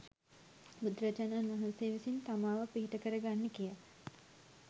බුදුරජාණන් වහන්සේ විසින් තමාව පිහිට කරගන්න කියා